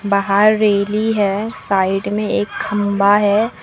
बाहर रेली है साइड में एक खंभा है।